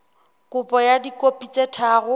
kopo ka dikopi tse tharo